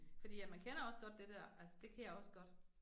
Fordi at man kender også godt det der, altså det kan jeg også godt